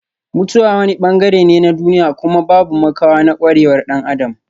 Mutuwa wani bangare ne na duniya kuma babu makawa na kwarewar dan Adam.